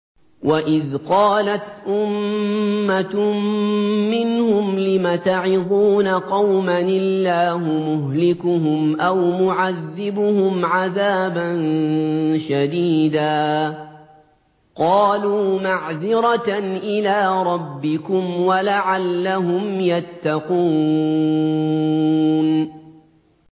وَإِذْ قَالَتْ أُمَّةٌ مِّنْهُمْ لِمَ تَعِظُونَ قَوْمًا ۙ اللَّهُ مُهْلِكُهُمْ أَوْ مُعَذِّبُهُمْ عَذَابًا شَدِيدًا ۖ قَالُوا مَعْذِرَةً إِلَىٰ رَبِّكُمْ وَلَعَلَّهُمْ يَتَّقُونَ